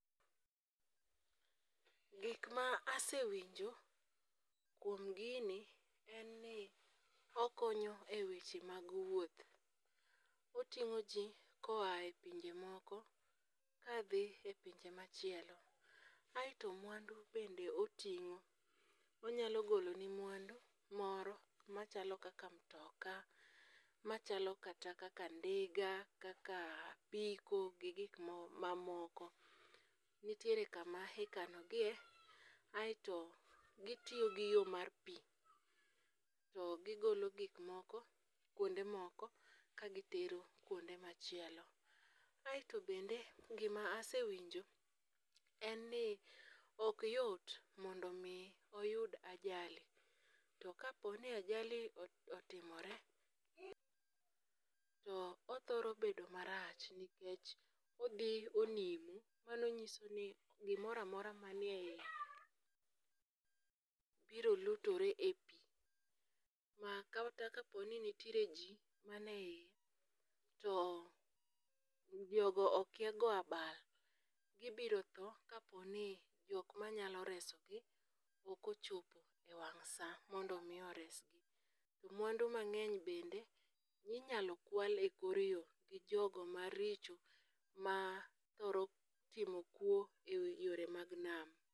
Gik ma asewinjo kuom gini en ni okonyo e weche mag wuoth, oting'o ji koa e pinje moko kadhi e pinje machielo, aeto mwandu bende oting'o. Onyalo goloni mwandu moro machalo kaka mtoka, machalo kata kaka ndiga, kaka apiko gi gik mamoko, nitiere kama ikanogie aeto gitiyo gi yo mar pi, to gigolo gik moko kwonde moko ka gitero kwonde machielo. Aeto bende gima asewinjo en ni ok yot mondo omi oyud ajali, to kapo ni ajali otimore, to othoro bedo marach nikech odhi onimo, mano nyiso ni gimora mora manie iye biro lutore e pi, ma kata kaponi nitiere ji manie iye, to jogo okia goyo abal, gibiro tho kaponi jok manyalo resogi ok ochopo e wang' sa, mondo omi oresgi. Mwandu mang'eny bende minyalo kwal e kor yo gi jogo maricho mathoro timo kuwo e yore mag nam.